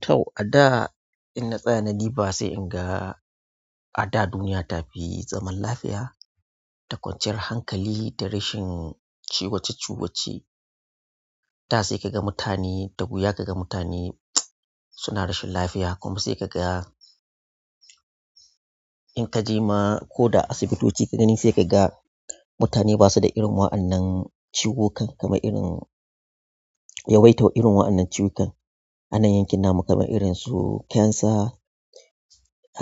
To, a da in na tsaya na diba sai in ga a da duniya ta fi zaman lafiya, da kwanciyar hankali da rashin ciwoce ciwoce da sai ka ga mutane, da wu ya ka ga mutane suna rashin lafiya kuma sai ka ga in ka je ma ko da asibitoci ka gani sai ka ga mutane basu da irin waɗannan ciwukan, kamar yawaitan irin wainnan ciwukan. Anayin kinna mu kamar irin su cancer,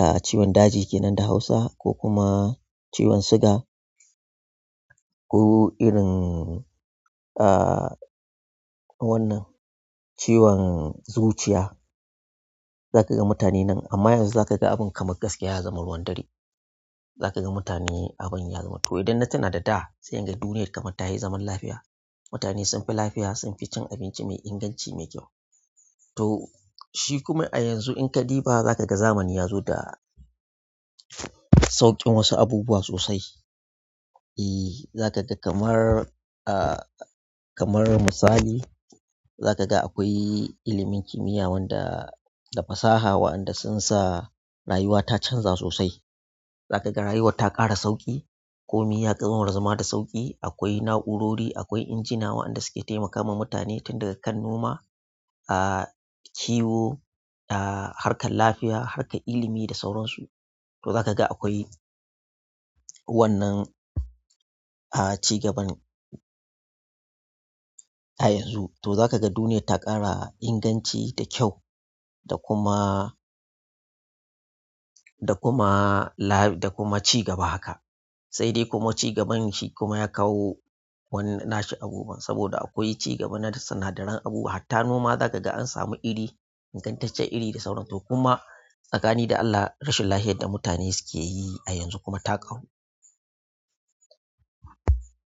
ah ciwon daji kenan da hausa ko kuma ciwon siga ko irin ah wannan ciwon zuciya. Za ka ga mutane nan amma yanzu za ka ga abin kamar gaskiya ya zama ruwan dare. Za ka ga mutane abin ya zama to idan na tuna da da sai in ji duniyar kamar ta yi zaman lafiya. Mutane sun fi lafiya, sun fi cin abinci mai inganci mai kyau. To shi kuma a yanzu in ka diba za ka ga zamani ya zo da sauƙin wasu abubuwa sosai. E, za ka ga kamar ah kamar misali, za ka ga akwai ilimin kimiyya wanda da fasaha waɗanda sun sa rayuwa ta canza sosai. Za ka ga rayuwar ta ƙara sauƙi, komi ya ƙazamar zama da sauƙi. Akwai na'urori, akwai injina waɗanda suke taimakawa mutane tun daga kan noma, ah kiwo, ah harkar lafiya, harkar ilimi da sauransu. To za ka ga akwai wannan ah cigaban a yanzu. To za ka ga duniya ta ƙara inganci da kyau da kuma da kuma la-- da kuma cigaba haka. Sai dai kuma cigaban shi kuma ya kawo wani nashi abubuwan saboda akwai cigaba na sinadaran abubuwa. Hatta noma za ka ga an samu iri ingantaccen iri da sauransu. To kuma tsakanin da Allah rashin lafiyar da mutane suke yi a yanzu kuma ta ƙaru.